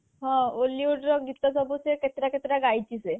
ହଁ hollywood ର ଗୀତସବୁ ସେ କିତେଟା କେତେଟା ଗାଇଛି ସେ